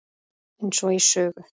Eins og í sögu.